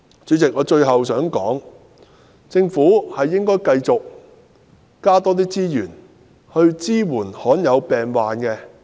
主席，我最後想說的是，政府應該繼續增加資源，支援罕見病患者。